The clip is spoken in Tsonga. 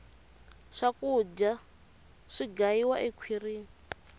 swakudya si gayiwa ekhwirini